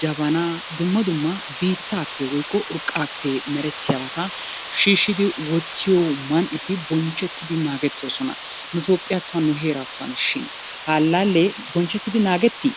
jabanaa dumma dumma biittaappe woykko urqqaappe merettiyabata shiishshidi wottiyo man"eti bonchchettidi naagettoosona. Nu Toophphiyatton, nu heeraatton shin? Ha allaallee bonchchettidi naagettii?